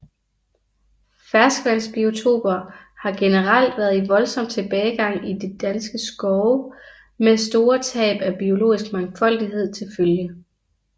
Ferskvandsbiotoper har generelt været i voldsom tilbagegang i danske skove med store tab af biologisk mangfoldighed til følge